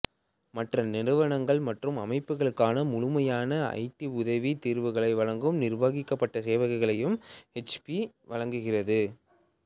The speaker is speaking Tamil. மற்ற நிறுவனங்கள் மற்றும் அமைப்புக்களுக்கான முழுமையான ஐடிஉதவித் தீர்வுகளை வழங்கும் நிர்வகிக்கப்பட்ட சேவைகளையும் ஹெச்பி வழங்குகிறது